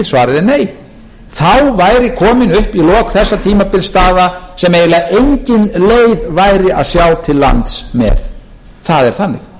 svarið er nei þá væri komin upp í lok þessa tímabils staða sem eiginlega engin leið væri að sjá til lands með það er þannig